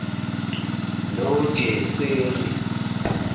nojeseri